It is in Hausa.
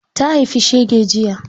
Ta haifi shege jiya.